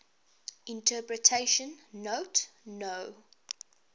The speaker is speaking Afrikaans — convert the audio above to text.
interpretation note no